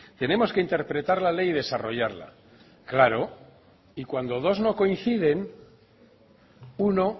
tenemos que interpretar la ley y desarrollarla claro y cuando dos no coinciden uno